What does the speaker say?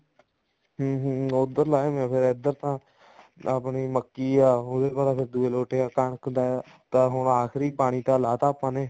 ਹਮ ਹਮ ਉੱਧਰ ਲਾਏ ਹੋਏ ਨੇ ਇੱਧਰ ਤਾਂ ਆਪਣੀ ਮੱਕੀ ਆ ਉਹਦਾ ਤਾਂ ਦੂਏ ਲੋਟ ਆ ਕਣਕ ਦਾ ਹੁਣ ਆਖਰੀ ਪਾਣੀ ਤਾਂ ਲਾਤਾ ਆਪਾਂ ਨੇ